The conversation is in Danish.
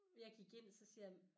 Jeg gik ind og så siger jeg